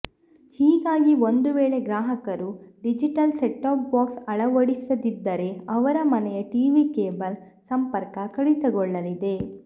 ಹೀಗಾಗಿ ಒಂದು ವೇಳೆ ಗ್ರಾಹಕರು ಡಿಜಿಟಲ್ ಸೆಟ್ಟಾಪ್ ಬಾಕ್ಸ್ ಅಳವಡಿಸಿದಿದ್ದರೇ ಅವರ ಮನೆಯ ಟಿವಿ ಕೇಬಲ್ ಸಂಪರ್ಕ ಕಡಿತಗೊಳ್ಳಲಿದೆ